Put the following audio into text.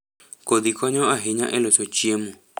kodhi konyo ahinya e loso chiemo.